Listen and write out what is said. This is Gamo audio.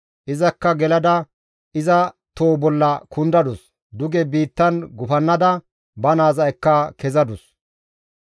Izakka gelada iza too bolla kundadus; duge biittan gufannada ba naaza ekka kezadus.